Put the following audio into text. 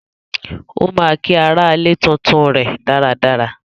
Ó ma kí aralè tuntun rè dáadáa